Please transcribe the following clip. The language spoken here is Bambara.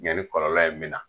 Ɲani kɔlɔlɔ in bɛ na